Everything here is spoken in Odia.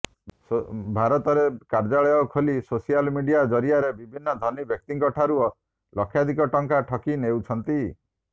ଭାରତରେ କର୍ଯ୍ୟାଳୟ ଖୋଲି ସୋସିଆଲ ମିଡିଆ ଜରିଆରେ ବିଭିନ୍ନ ଧନୀ ବ୍ୟକ୍ତିଙ୍କଠାରୁ ଲକ୍ଷାଧିକ ଟଙ୍କା ଠକି ନେଉଛନ୍ତି